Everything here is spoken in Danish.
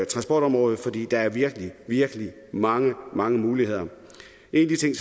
transportområdet for der er virkelig virkelig mange mange muligheder en af de ting